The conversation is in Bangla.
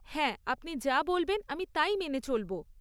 হ্যাঁ, আপনি যা বলবেন আমি তাই মেনে চলবো।